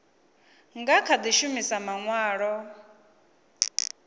nga kha di shumisa manwalo